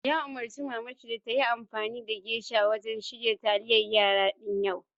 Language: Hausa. Ya umurci mamanshi da tayi amfani da geisha wajen shirya taliyar yara din yau!